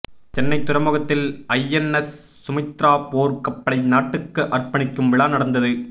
சென்னை துறைமுகத்தில் ஐஎன்எஸ் சுமித்ரா போர் கப்பலை நாட்டுக்கு அர்பணிக்கும் விழா நடந்தது